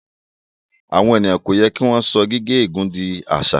Àwon ènìyàn kò yẹ kí wọn so gigé ègún dì àṣà